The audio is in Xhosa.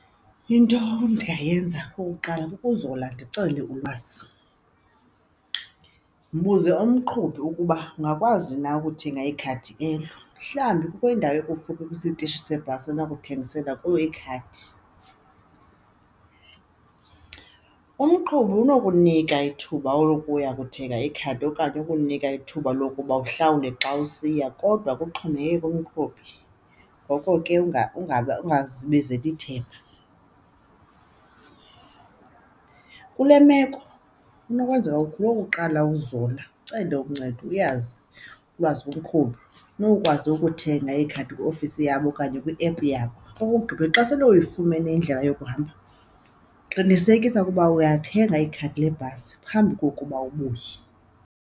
Into endingayenza okokuqala kukuzola ndicele ulwazi. Mbuze umqhubi ukuba ungakwazi na ukuthenga ikhadi elo, mhlawumbi kukho indawo ekufuphi kwisitishi sebhasi enokuthengisela kuyo ikhadi. Umqhubi unokunika ithuba lokuya kuthenga ikhadi okanye ukunika ithuba lokuba uhlawule xa usiya kodwa kuxhomekeke kumqhubi, ngoko ke ungazibizeli ithemba. Kule imeko inokwenzeka ukuqala uzola, ucele uncedo uyazi ulwazi kumqhubi unokukwazi ukuthenga ikhadi kwiiofisi yabo okanye kwiephu yabo. Okokugqibela, xa sele uyifumene indlela yokuhamba qinisekisa ukuba uyathenga ikhadi lebhasi phambi kokuba ubuye.